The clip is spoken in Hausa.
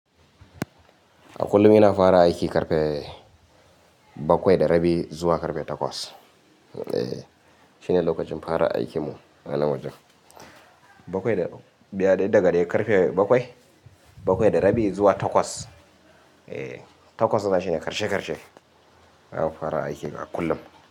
A kullum ina fara aiki karfe bakwai da rabi zuwa karfe takwas. Eh, shine lokacin fara aikimu anan wajen. Bakwai da, biya dai daga dai karfe bakwai, bakwai da rabi zuwa takwas. Eh, takwas na shine karshe karshe. Zamu fara aiki a kullum.